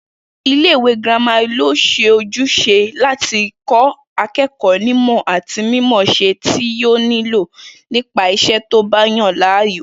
Ilé-ìwé girama lójús̩e láti kó̩ aké̩kò̩ó̩ nímò̩ àti mímò̩ó̩s̩e tí yóò nílò nípa is̩é̩ tó bá yàn láàyò